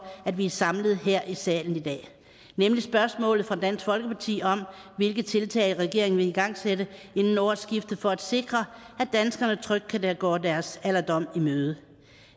at vi er samlet her i salen i dag nemlig spørgsmålet fra dansk folkeparti om hvilke tiltag regeringen vil igangsætte inden årsskiftet for at sikre at danskerne trygt kan gå deres alderdom i møde